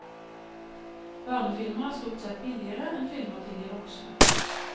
Barnefilmer er stort sett billigere enn filmer til de voksne.